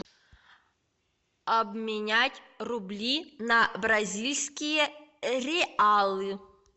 обменять рубли на бразильские реалы